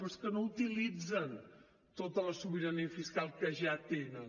però és que no utilitzen tota la sobirania fiscal que ja tenen